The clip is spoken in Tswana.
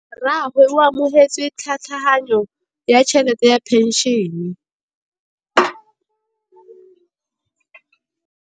Rragwe o amogetse tlhatlhaganyô ya tšhelête ya phenšene.